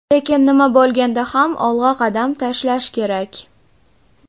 Lekin nima bo‘lganda ham olg‘a qadam tashlash kerak.